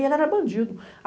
E ele era bandido.